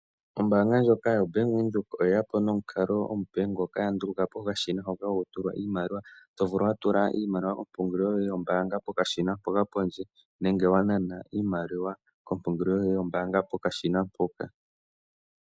Ombaanga ndjoka yobank Windhoek oye yapo nomukalo ngoka omupe to vulu oku tula iimaliwa kompungulilo yoyevpokashina kopondje nenge to nana iimaliwa pokashina mpoka.